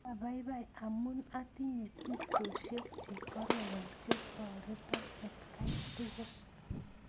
Apaipai amun atinye tupchosyek che kororon che toreton atkan tukul